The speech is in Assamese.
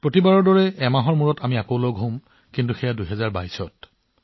সদায়ৰ দৰে এমাহ পিছত আমি পুনৰ লগ পাম কিন্তু ২০২২ চনত